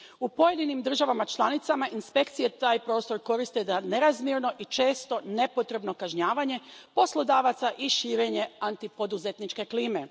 U pojedinim državama članicama inspekcije taj prostor koriste za nerazmjerno i često nepotrebno kažnjavanje poslodavaca i širenje antipoduzetničke klime.